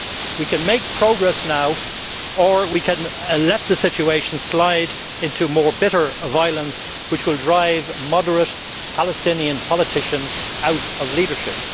We can make progress now or we can let the situation slide into more bitter violence, which will drive moderate Palestinian politicians out of leadership.